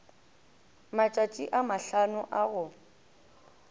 matšatši a mahlano a go